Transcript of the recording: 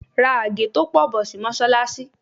Ra àgé tó pọ̀ bọ̀ sí Mọ́sálásí.